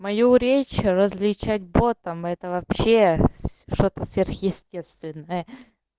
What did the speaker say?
мою речь различать ботом это вообще что-то сверхъестественное